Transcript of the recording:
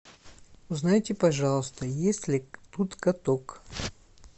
узнайте пожалуйста есть ли тут каток